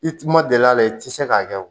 I tun ma deli a la i tɛ se k'a kɛ o